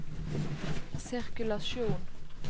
sirkulasjon